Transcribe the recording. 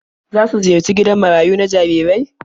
Za su ziyarci gidan marayu na jarirai?